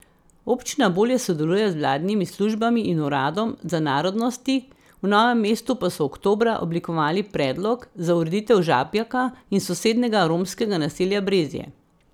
Občina bolje sodeluje z vladnimi službami in uradom za narodnosti, v Novem mestu pa so oktobra oblikovali predlog za ureditev Žabjaka in sosednjega romskega naselja Brezje.